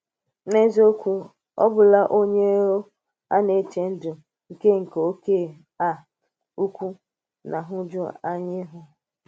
N’eziokwu, ọ̀bụ̀la onye um à nà-echè ndụ̀ nke nke òké um ụ̀kọ̀ na nhụ̀júànyà ihu.